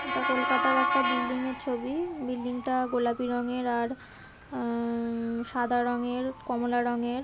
এটা কোলকাতার একটা বিল্ডিং এর ছবি বিল্ডিং টা গোলাপি রঙের আর উম সাদা রঙের কমলা রঙের।